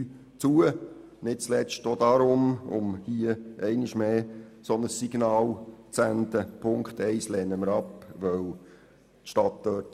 Das tut sie nicht zuletzt auch deshalb, um hier einmal mehr ein entsprechendes Signal zu senden.